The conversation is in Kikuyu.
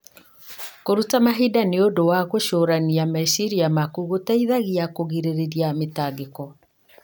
Kũruta mahinda nĩ ũndũ wa gũcũrania meciria maku gũteithagia kũgirĩrĩria mĩtangĩko.